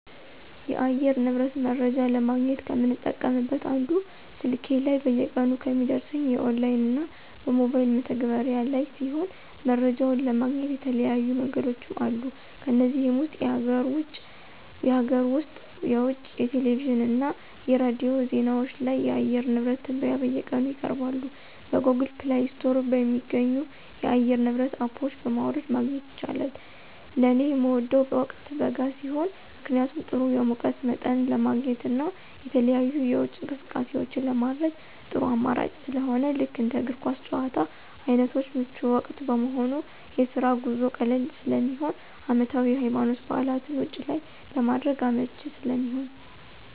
የአየር ንብረት መረጃ ለማግኘት ከምጠቀምበት አንዱ ስልኬ ላይ በየቀኑ ከሚደርሰኝ የኦንላይን እና በሞባይል መተግበሪያ (አፕ) ላይ ሲሆን መረጃውን ለማግኘት የተለያዩ መንገዶችም አሉ ከነዚህም ውስጥ የሀገር ውስጥ (የውጭ) የቴሌቪዥን እና የሬዲዮ ዜናዎች ላይ የአየር ንብረት ትንበያ በየቀኑ ይቀርባሉ። በGoogle Play ስቶር የሚገኙ የአየር ንብረት አፖች በማውረድ ማግኘት ይቻላል። ለኔ ምወደው ወቅት በጋ ሲሆን ምክንያቱም ጥሩ የሙቀት መጠን ለማግኘት እና የተለያዩ የውጪ እንቅስቃሴዎችን ለማድረግ ጥሩ አማራጭ ስለሆነ ልክ እንደ እግር ኳስ ጭዋታ አይነቶች ምቹ ወቅት በመሆኑ፣ የስራ ጉዞ ቀላል ስለሚሆን፣ አመታዊ የሀይማኖታዊ በዓላትን ውጭ ላይ ለማድረግ አመቺ ስለሚሆን።